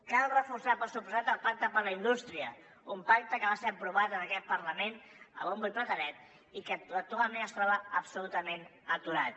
cal reforçar per descomptat el pacte per la indústria un pacte que va ser aprovat en aquest parlament a bombo i platerets i que actualment es troba absolutament aturat